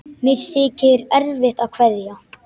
Mér þykir erfitt að kveðja.